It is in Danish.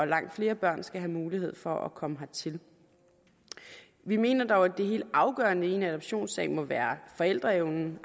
langt flere børn skal have mulighed for at komme hertil vi mener dog at det helt afgørende i en adoptionssag må være forældreevnen